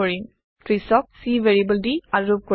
৩০ক c variable দি আৰোপ কৰিম